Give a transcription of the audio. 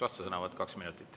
Vastusõnavõtt kaks minutit.